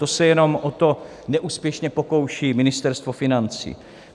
To se jenom o to neúspěšně pokouší Ministerstvo financí.